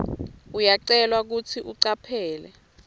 uyacelwa kutsi ucaphele